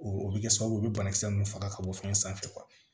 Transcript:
O bɛ kɛ sababu ye o bɛ banakisɛ nunnu faga ka bɔ fɛn sanfɛ